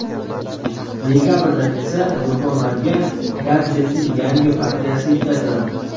Dekabrdan esa do‘konlarga gadjetning yangi partiyasi yetkaziladi.